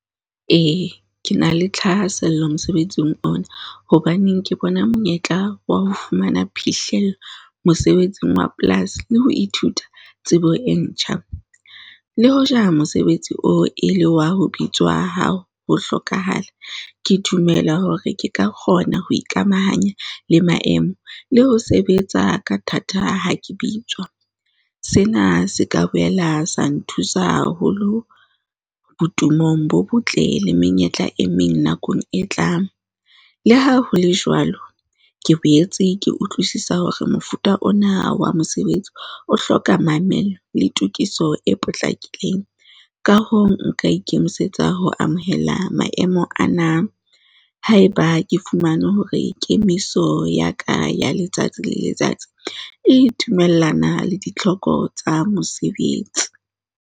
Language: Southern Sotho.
E, ke na le thahasello mosebetsing ona, hobaneng ke bona monyetla wa ho fumana phihlello mosebetsing wa polasi le ho ithuta tsebo e ntjha. Le hoja mosebetsi oo e le wa ho bitswe wa ha o ho hlokahala, ke dumela hore ke ka kgona ho ikamahanya le maemo le ho sebetsa ka thata ha ke bitswa. Sena se ka boela sa nthusa haholo botumo bo botle le menyetla e meng nakong e tlang le ha ho le jwalo, ke boetse ke utlwisisa hore mofuta ona wa mosebetsi o hloka mamello le tokiso e potlakileng. Ka hoo, nka ikemisetsa ho amohela maemo ana, haeba ke fumane hore kemiso ya ka ya letsatsi le letsatsi e dumellana le ditlhoko tsa mosebetsi.